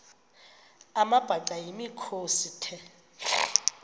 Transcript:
amabhaca yimikhosi the